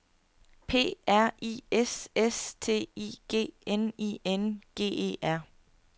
P R I S S T I G N I N G E R